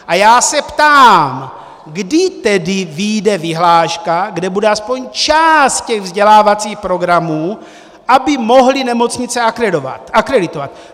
A já se ptám: Kdy tedy vyjde vyhláška, kde bude aspoň část těch vzdělávacích programů, aby mohly nemocnice akreditovat?